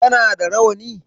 Kana da rawani?